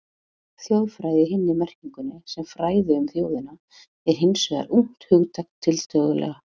Þjóðfræði í hinni merkingunni, sem fræði um þjóðina, er hins vegar ungt hugtak, tiltölulega.